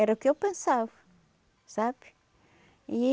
Era o que eu pensava, sabe? E...